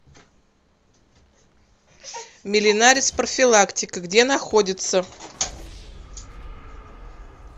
миленарис профилактика где находится